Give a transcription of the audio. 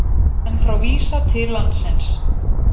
Menn frá Visa til landsins